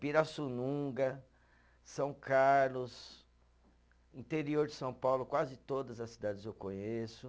Pirassununga, São Carlos, interior de São Paulo, quase todas as cidades eu conheço.